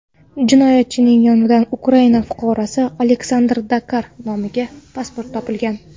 Jinoyatchining yonidan Ukraina fuqarosi Aleksandr Dakar nomiga pasport topilgan.